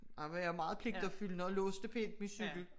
Der var jeg meget pligtopfyldende og låste pænt min cykel